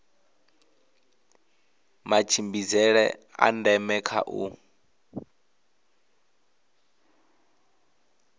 matshimbidzele a ndeme kha u